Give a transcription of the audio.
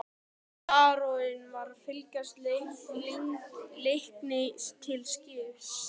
Baróninn var að fylgja Leikni til skips.